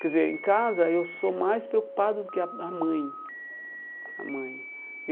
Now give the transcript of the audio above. Quer dizer, em casa eu sou mais preocupado do que a a mãe a mãe.